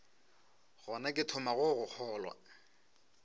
gona ke thomago go kgolwa